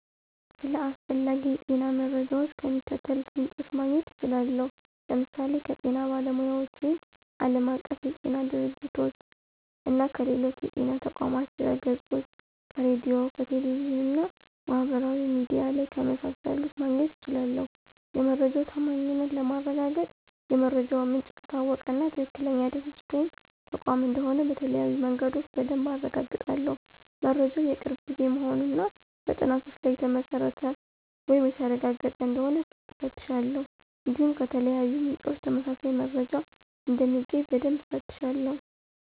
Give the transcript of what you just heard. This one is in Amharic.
ስለ አስፈላጊ የጤና መረጃዎች ከሚከተሉት ምንጮች ማግኘት እችላለሁ፦ ለምሳሌ ከጤና ባለሙያዎች ወይም ዓለም አቀፍ የጤና ድርጅቶች - (WHO)፣ እና ከሌሎች የጤና ተቋማት ድህረገጾች፣ ከሬዲዮ፣ ከቴሌቪዥን እና ማህበራዊ ሚዲያ ላይ ከመሳሰሉት ማግኘት እችላለሁ። የመረጃው ታማኝነት ለማረጋገጥ የመረጃው ምንጭ ከታወቀ እና ትክክለኛ ድርጅት ወይም ተቋም እንደሆነ በተለያዩ መንገዶች በደንብ አረጋግጣለሁ። መረጃው የቅርብ ጊዜ መሆኑን እና በጥናቶች ላይ የተመሰረተ ወይም የተረጋገጠ እንደሆነ እፈትሻለሁ። እንዲሁም ከተለያዩ ምንጮች ተመሳሳይ መረጃ እንደሚገኝ በደንብ እፈትሻለሁ።